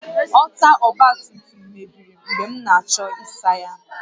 Ọta ọgba tum tum mebiri mgbe m na-achọ ịsa ya